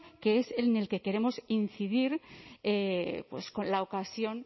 que es en el queremos incidir pues con la ocasión